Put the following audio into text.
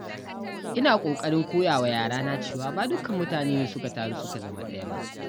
Ina ƙoƙarin koya wa yarana cewa ba dukkan mutane ne suka taru suka zama ɗaya ba.